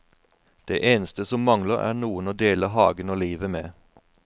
Det eneste som mangler er noen å dele hagen og livet med.